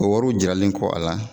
O wariw jiralen kɔ a la.